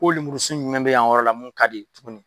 Ko lomurusun ɲumɛn bɛ yan yɔrɔ la mun ka di tuguni.